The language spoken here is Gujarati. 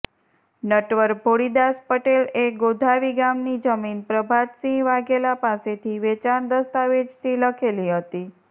નટવર ભોળીદાસ પટેલએ ગોધાવી ગામની જમીન પ્રભાતસિંહ વાઘેલા પાસેથી વેચાણ દસ્તાવેજથી લખેલી હતી